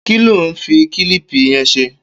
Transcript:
Ki ló n fi kilipi yẹn ṣé?